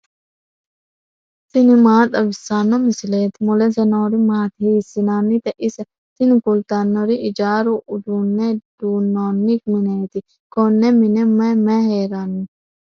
tini maa xawissanno misileeti ? mulese noori maati ? hiissinannite ise ? tini kultannori ijaaru uduunne duunnoonni mineeti konne mine may may heeranno?